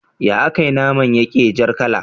Ya akai naman yake jar kala